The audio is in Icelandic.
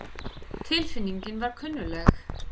Tilfinningin var kunnugleg.